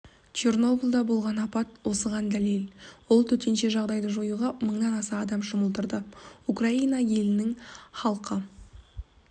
чернобылда болған апат осыған дәлел ол төтенше жағдайды жоюға мыңнан аса адам жұмылдырылды украина елінің халқы